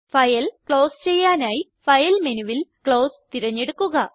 file close ചെയ്യാനായി file മെനുവിൽ close തിരഞ്ഞെടുക്കുക